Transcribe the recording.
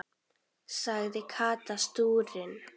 sagði Kata stúrin.